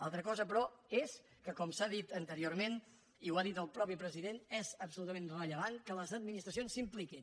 altra cosa però és que com s’ha dit anteriorment i ho ha dit el mateix president és absolutament rellevant que les administracions s’hi impliquin